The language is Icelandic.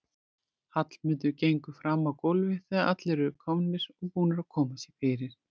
Hallmundur gengur fram á gólfið þegar allir eru komnir og búnir að koma sér fyrir.